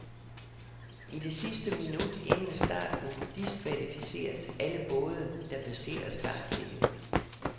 I det sidste minut inden starten diskvalificeres alle både, der passerer startlinien.